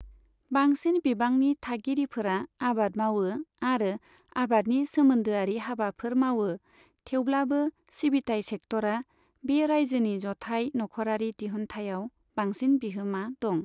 बांसिन बिबांनि थागिरिफोरा आबाद मावो आरो आबादनि सोमोन्दोआरि हाबाफोर मावो, थेवब्लाबो सिबिथाइ सेक्टरा बे रायजोनि जथाइ नखरारि दिहुन्थायाव बांसिन बिहोमा दं।